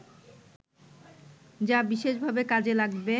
যা বিশেষভাবে কাজে লাগবে